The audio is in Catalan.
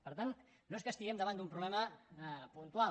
per tant no és que estiguem davant d’un problema puntual